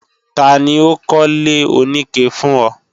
Tani ó kọ́lé oníke fún ọ?